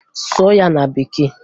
Sụọ ya na Bekee!